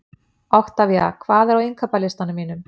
Oktavía, hvað er á innkaupalistanum mínum?